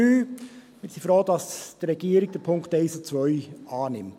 Wir sind froh, dass die Regierung die Punkte 1 und 2 annimmt.